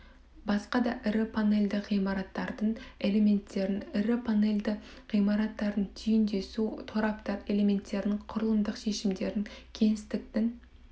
басқа да ірі панельді ғимараттардың элементтерін ірі панельді ғимараттардың түйіндесу тораптар элементтерінің құрылымдық шешімдерін кеңістіктің